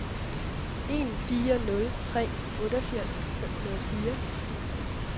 en fire nul tre otteogfirs fem hundrede og fire